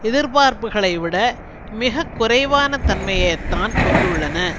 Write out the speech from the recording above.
எதிர்பார்ப்புக்களைவிட மிக குறைவான தன்மையை தான் கொண்டுள்ளன